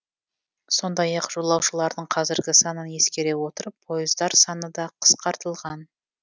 сондай ақ жолаушылардың қазіргі санын ескере отырып пойыздар саны да қысқартылған